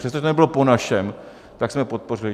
Přestože to nebylo po našem, tak jsme podpořili.